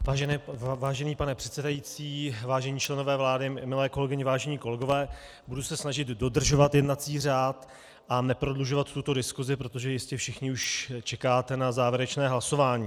Vážený pane předsedající, vážení členové vlády, milé kolegyně, vážení kolegové, budu se snažit dodržovat jednací řád a neprodlužovat tuto diskusi, protože jistě všichni už čekáte na závěrečné hlasování.